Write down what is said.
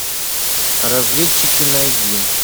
разведчики найди